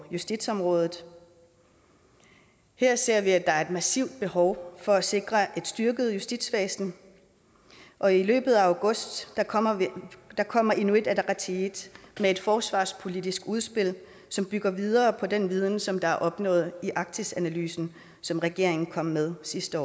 justitsområdet her ser vi at der er et massivt behov for at sikre et styrket justitsvæsen og i løbet af august kommer kommer inuit ataqatigiit med et forsvarspolitisk udspil som bygger videre på den viden som er opnået i arktisanalysen som regeringen kom med sidste